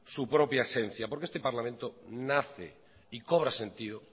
su propia esencia porque este parlamento nace y cobra sentido